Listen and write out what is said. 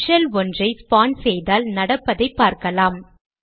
sub shell ஒன்றை spawn செய்தால் நடப்பதை பார்க்கலாம்